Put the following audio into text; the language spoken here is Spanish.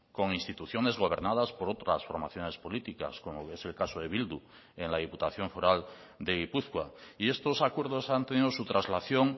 con instituciones gobernadas por otras formaciones políticas como es el caso de bildu en la diputación foral de gipuzkoa y estos acuerdos han tenido su traslación